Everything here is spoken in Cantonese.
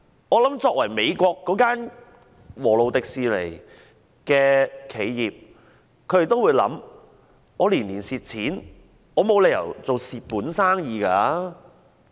我估計美國華特迪士尼公司也會考量，沒理由做虧本生意吧？